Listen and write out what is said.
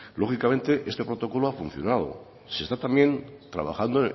lógicamente este protocolo ha funcionado se está también trabajando